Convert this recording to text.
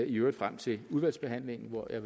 i øvrigt frem til udvalgsbehandlingen hvor jeg